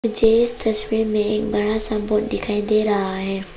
झे इस तस्वीर में एक बड़ा सा बोर्ड दिखाई दे रहा है।